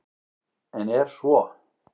En er svo?